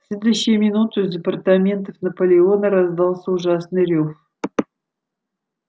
следующую минуту из апартаментов наполеона раздался ужасный рёв